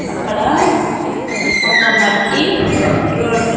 అక్కడ ఒక మట్టి రోడ్డు .